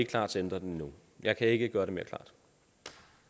klar til at ændre den nu jeg kan ikke gøre det mere